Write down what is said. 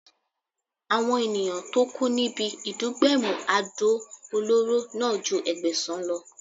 Àwọn ènìyàn tó kú níbi ìdúgbẹ̀mù àdó olóró náà ju Ẹgbẹ̀sàn lọ.